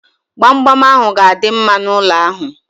Gbamgbam ahu ga-adị mma n'ụlọ ahu